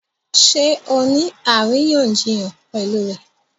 Ṣé ọ ní aríyànjiyàn pẹ̀lú rẹ̀?